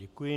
Děkuji.